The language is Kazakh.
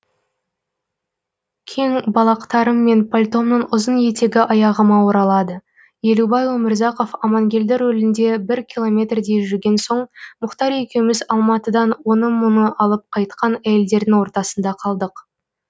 кең балақтарым мен пальтомның ұзын етегі аяғыма оралады елубай өмірзақов амангелді рөлінде бір километрдей жүрген соң мұхтар екеуміз алматыдан оны мұны алып кайтқан әйелдердің ортасында қалдық